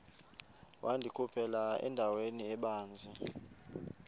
wandikhuphela endaweni ebanzi